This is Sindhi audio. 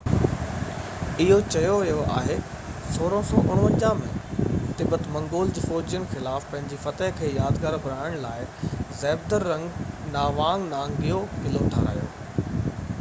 اهو چيو ويو آهي 1649 ۾ تبت منگول فوجين خلاف پنهنجي فتح کي يادگار بڻائڻ لاءِ زهبدرنگ ناوانگ نانگيو قلعو ٺاهرايو